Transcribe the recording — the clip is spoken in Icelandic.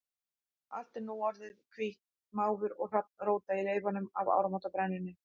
Allt er nú sem orðið hvítt, máfur og hrafn róta í leifunum af áramótabrennunni.